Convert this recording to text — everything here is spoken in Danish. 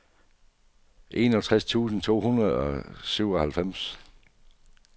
enogtres tusind to hundrede og syvoghalvfems